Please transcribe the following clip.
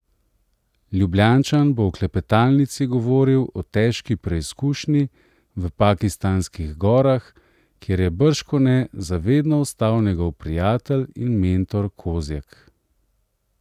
Ljubljančan bo v klepetalnici govoril o težki preizkušnji v pakistanskih gorah, kjer je bržkone za vedno ostal njegov prijatelj in mentor Kozjek.